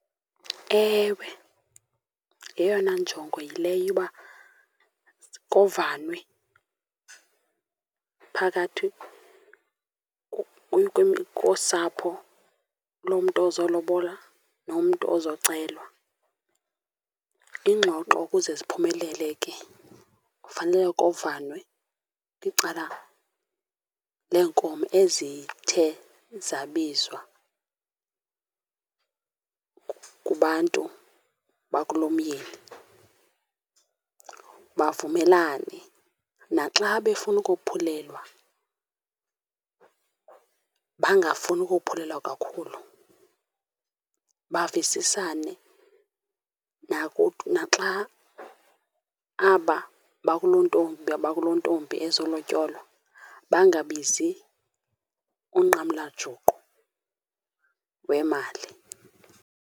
Ewe, yeyona njongo yileyo yoba kovanwe phakathi kosapho lomntu ozolobola nomntu oozocelwa. Iingxoxo ukuze ziphumelele ke kufanele kovanwe kwicala leenkomo ezithe zabizwa kubantu bakulomyeni, bavumelane. Naxa befuna ukophelelwa bangafuna ukophulelwa kakhulu, bavisisane. Naxa aba bakulontombi bakulontombi ezolotyolwa bangabizi unqamlajuqu wemali.